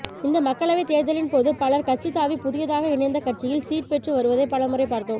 இந்த மக்களவை தேர்தலின்போது பலர் கட்சி தாவி புதியதாக இணைந்த கட்சியில் சீட் பெற்று வருவதை பல முறை பார்த்தோம்